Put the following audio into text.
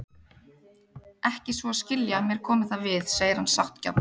Ekki svo að skilja að mér komi það við, segir hann sáttgjarn.